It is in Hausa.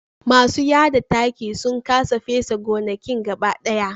Masu yada taki sun kasa fesa gonakin gaba daya